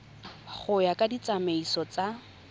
go ya ka ditsamaiso tsa